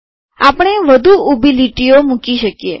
આપણે વધુ ઊભી રેખાઓ મૂકી શકીએ